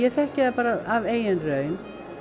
þekki ég það bara af eigin raun